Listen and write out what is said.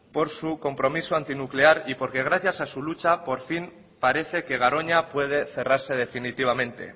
por su compromiso antinuclear y porque gracias a su lucha por fin parece que garoña puede cerrarse definitivamente